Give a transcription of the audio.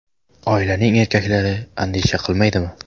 Oilaning erkaklari andisha qilmaydimi?